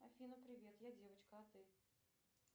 афина привет я девочка а ты